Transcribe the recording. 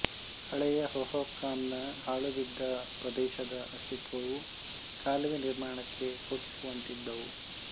ಹಳೆಯ ಹೊಹೊಕಾಮ್ ನ ಹಾಳುಬಿದ್ದ ಪ್ರದೇಶದ ಅಸ್ತಿತ್ವವು ಕಾಲುವೆ ನಿರ್ಮಾಣಕ್ಕೆ ಸೂಚಿಸುವಂತಿದ್ದವು